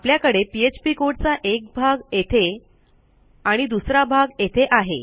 आपल्याकडे PHP code चा एक भाग येथे आणि दुसरा भाग येथे आहे